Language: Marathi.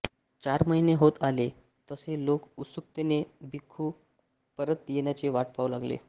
चार महिने होत आले तसे लोक उत्सुकतेने भिक्खू परत येण्याची वाट पाहू लागले